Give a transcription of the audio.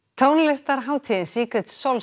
tónlistarhátíðin